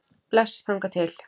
Bless þangað til.